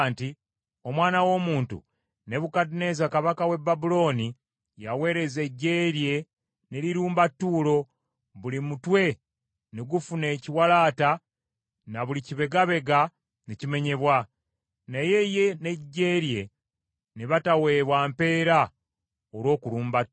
“Omwana w’omuntu, Nebukadduneeza kabaka w’e Babulooni yaweereza eggye lye ne lirumba Ttuulo, buli mutwe ne gufuna ekiwalaata ne buli kibegabega ne kimenyebwa, naye ye n’eggye lye ne bataweebwa mpeera olw’okulumba Ttuulo.